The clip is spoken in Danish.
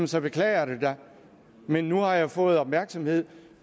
så beklager jeg det da men nu har jeg fået opmærksomhed